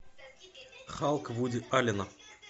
халк вуди аллена